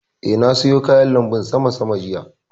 Eh, na soya kayan lanbun sama sama jiya